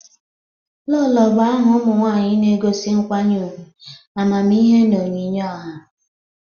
Lolo bụ aha ụmụ nwanyị na-egosi nkwanye ugwu, amamihe na onyinye ọha.